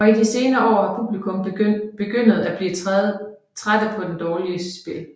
Og i de senere år har publikum begyndet blive trædte på det dårlige spli